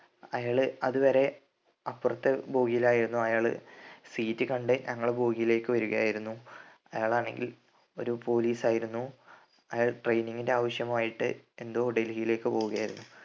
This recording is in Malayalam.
അയാള് അതുവരെ അപ്പറത്തെ ബോഗിലായിരുന്നു അയാള് seat കണ്ട് ഞങ്ങളുടെ ബോഗിലേക്ക് വരുകയായിരുന്നു അയാളാണെങ്കിൽ ഒരു പോലീസായിരുന്നു അയാൾ training ൻ്റെ ആവശ്യം ആയിട്ട് എന്തോ ഡൽഹിലേക്ക് പോവുകയായിരുന്നു